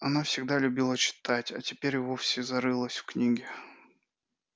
она всегда любила читать а теперь и вовсе зарылась в книги